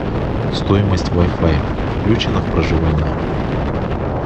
стоимость вай фай включена в проживание